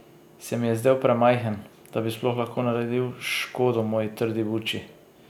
Se mi je zdel premajhen, da bi sploh lahko naredil škodo moji trdi buči?